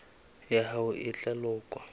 ya hao e tla lekolwa